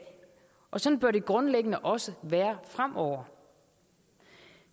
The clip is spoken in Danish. og sådan bør det grundlæggende også være fremover